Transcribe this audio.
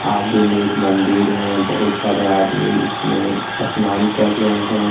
आगे में एक मंदिर है बहुत सारे आदमी इसमें स्नान कर रहे हैं।